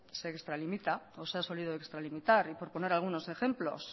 se extralimita o se ha solido extralimitar y por poner algunos ejemplos